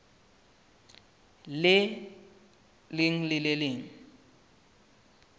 leng le le leng le